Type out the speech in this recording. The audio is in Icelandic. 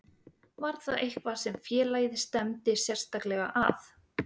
Var það eitthvað sem félagið stefndi sérstaklega að?